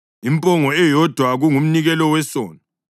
impongo eyodwa kungumnikelo wesono;